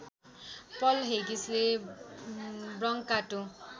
पल हेगिसले ब्रङ्काटो